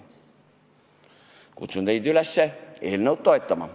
Kutsun teid üles eelnõu toetama.